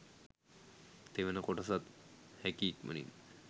තෙවන කොටසත් හැකි ඉක්මනින්